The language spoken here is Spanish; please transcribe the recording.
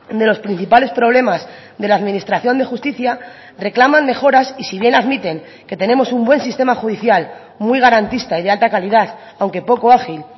de los principales problemas de la administración de justicia reclaman mejoras y si bien admiten que tenemos un buen sistema judicial muy garantista y de alta calidad aunque poco ágil